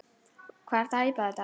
Hvað ertu að æpa þetta.